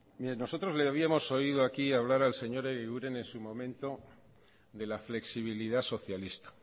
mire nosotros le habíamos oído aquí hablar al señor egiguren en su momento de la flexibilidad socialista